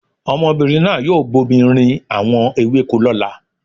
Ọmọbìnrin náà yóò bomi rin àwọn ewéko lọ́la.